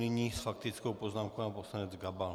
Nyní s faktickou poznámkou pan poslanec Gabal.